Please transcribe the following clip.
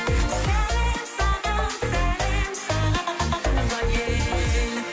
сәлем саған сәлем саған туған ел